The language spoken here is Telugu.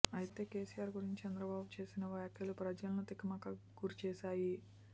అయితే కెసిఆర్ గురించి చంద్రబాబు చేసిన వ్యాఖ్యలు ప్రజలను తికమక కి గురి చేశాయి